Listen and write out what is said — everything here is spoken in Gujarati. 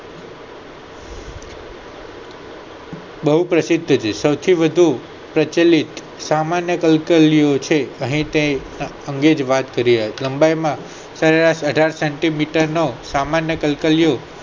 બહુ પ્રસિદ્ધ છે સૌથી વધુ પ્રચલિત સામાન્ય કલ્કલીયુ છે અહીં તેની જ અંગે વાત કરી રહ્યાં છે લંબાઈ માં સરેરાસ અઢાર centimeter ના સામાન્ય કલ્કલીયુ